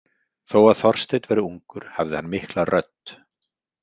Þó að Þorsteinn væri ungur hafði hann mikla rödd.